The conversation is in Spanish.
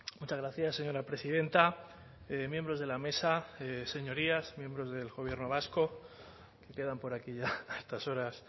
muchas gracias señora presidenta miembros de la mesa señorías miembros del gobierno vasco quedan por aquí ya a estas horas